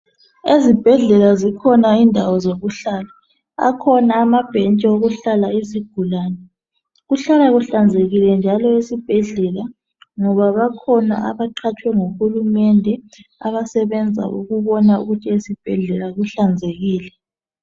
Ezibhedlela zikhona indawo zokuhlala .Akhona amabhentshi okuhlala izigulane. Kuhlala kuhlanzekile njalo esibhedlela . Ngoba bakhona abaqhatshwe nguhulumende abasebenza ukubona ukuthi esibhedlela kuhlanzekile